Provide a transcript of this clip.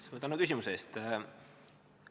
Suur tänu küsimuse eest!